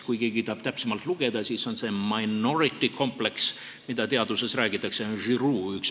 Kui keegi tahab täpsemalt lugeda, siis selle nimi on minority complex, nagu teaduses kasutatakse.